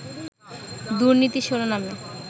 দুর্নীতি শিরোনামে